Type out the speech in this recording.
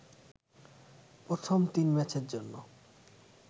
প্রথম তিন ম্যাচের জন্য